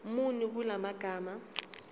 muni kula magama